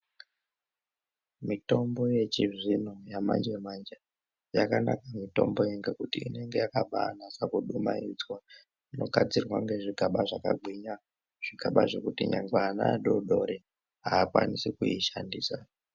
Mitombo yechizvino yamanje manje yakanaka mitombo yo ngekuti inenge yakabanasa kudumaidzwa inogadzirwa ngezvigaba zvakagwinya, zvigaba zvekuti nyangwe ana adodori aakwanisi kushandisa.